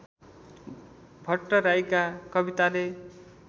भट्टराईका कविताले